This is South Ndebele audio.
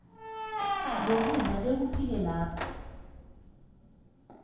zokudla bekufike lapho